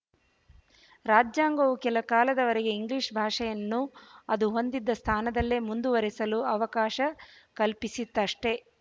ರಾಜ್ಯಾಂಗವು ಕೆಲಕಾಲದವರೆಗೆ ಇಂಗ್ಲಿಶ ಭಾಷೆಯನ್ನು ಅದು ಹೊಂದಿದ್ದ ಸ್ಥಾನದಲ್ಲೇ ಮುಂದುವರೆಸಲು ಅವಕಾಶ ಕಲ್ಪಿಸಿತಷ್ಟೇ